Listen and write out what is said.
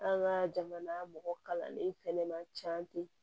An ka jamana mɔgɔ kalannen fɛnɛ ma ca ten